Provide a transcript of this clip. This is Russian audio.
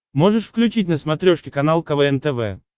можешь включить на смотрешке канал квн тв